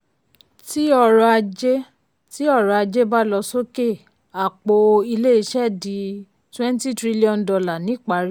tí ọrọ̀ ajé tí ọrọ̀ ajé bá lọ sókè àpò ilé-iṣẹ́ di twenty trillion dollar ní ìparí.